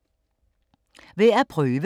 Værd at prøve